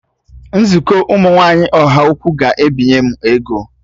Nzukọ ụmụ nwaanyị Ọhaukwu ga-ebinye m ego